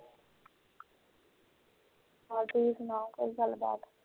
ਏਹੋ ਤੁਸੀ ਸੁਣਾਓ ਕੋਈ ਗੱਲਬਾਤ